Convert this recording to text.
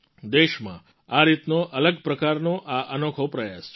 દેશમાં આ રીતનો અલગ પ્રકારનો આ અનોખો પ્રયાસ છે